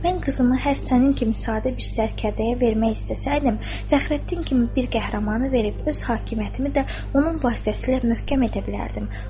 Mən qızımı hər sənin kimi sadə bir sərkərdəyə vermək istəsəydim, Fəxrəddin kimi bir qəhrəmanı verib öz hakimiyyətimi də onun vasitəsilə möhkəm edə bilərdim.